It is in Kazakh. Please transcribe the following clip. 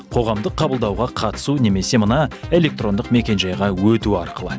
қоғамдық қабылдауға қатысу немесе мына электрондық мекенжайға өту арқылы